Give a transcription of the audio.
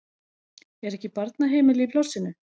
Er ekki barnaheimili í plássinu?